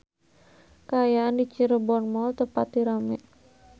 Kaayaan di Cirebon Mall teu pati rame